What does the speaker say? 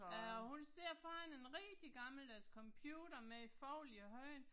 Ja og hun sidder foran en rigtig gammeldags computer med folie i håret